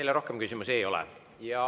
Teile rohkem küsimusi ei ole.